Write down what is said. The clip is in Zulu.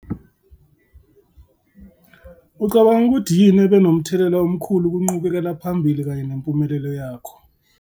Ucabanga ukuthi yini ebe nomthelela omkhulu kunqubekela phambili kanye nempumelelo yakho?